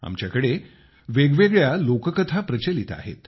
आमच्याकडे वेगवेगळ्या लोककथा सुद्धा प्रचलित आहेत